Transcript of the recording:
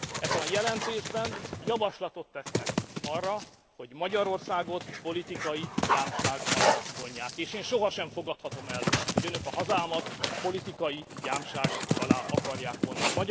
Ebben a jelentésben javaslatot tesznek arra, hogy Magyarországot politikai gyámság alá vonják, és én sohasem fogadhatom el, hogy Önök a hazámat politikai gyámság alá akarják vonni.